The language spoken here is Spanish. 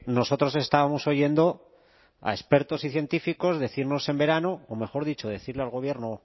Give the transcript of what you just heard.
nosotros estábamos oyendo a expertos y científicos decirnos en verano o mejor dicho decirlo al gobierno